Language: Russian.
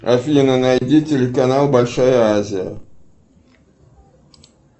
афина найди телеканал большая азия